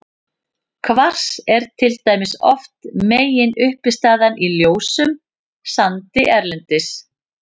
Kvars er til dæmis oft meginuppistaðan í ljósum sandi erlendis.